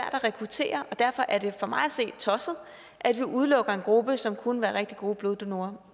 at rekruttere og derfor er det for mig at se tosset at vi udelukker en gruppe som kunne være rigtig gode bloddonorer